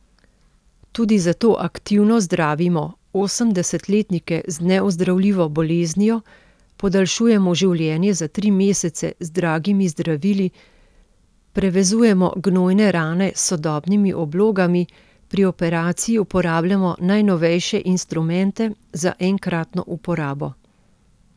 Tudi zato aktivno zdravimo osemdesetletnike z neozdravljivo boleznijo, podaljšujemo življenje za tri mesece z dragimi zdravili, prevezujemo gnojne rane s sodobnimi oblogami, pri operaciji uporabljamo najnovejše instrumente za enkratno uporabo.